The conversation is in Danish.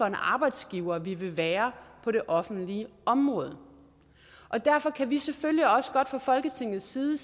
arbejdsgiver vi vil være på det offentlige område og derfor kan vi selvfølgelig også godt sige fra folketingets side